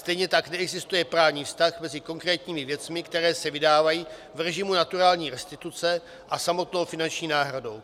Stejně tak neexistuje právní vztah mezi konkrétními věcmi, které se vydávají v režimu naturální restituce a samotnou finanční náhradou.